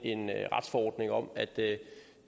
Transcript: retsforordning om at det